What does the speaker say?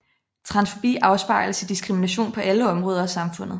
Transfobi afspejles i diskrimination på alle områder af samfundet